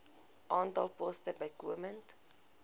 aantal poste bykomend